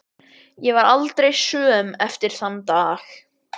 Ég varð aldrei söm eftir þann dag.